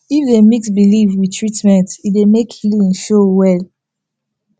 if dey mix belief with treatment e dey make healing show well